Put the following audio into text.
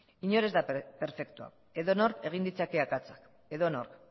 inor ez da perfektua edonork egin ditzake akatsak edonork